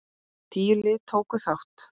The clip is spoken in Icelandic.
Tíu lið tóku þátt.